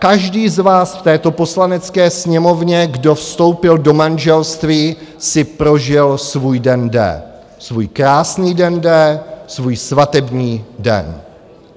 Každý z vás v této Poslanecké sněmovně, kdo vstoupil do manželství, si prožil svůj den D, svůj krásný den D, svůj svatební den.